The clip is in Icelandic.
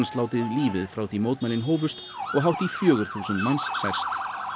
látið lífið frá því mótmælin hófust og hátt í fjögur þúsund manns særst